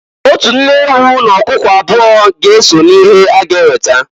Otu nne ewu n'ọkụkụ abụọ ga-eso n'ihe a ga-eweta.